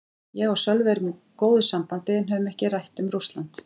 Ég og Sölvi erum í góðu sambandi en höfum ekkert rætt um Rússland.